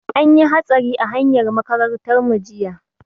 An yi hatsari a hanyar makarantar mu jiya.